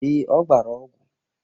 Ee, ọ gbara ọgwụ.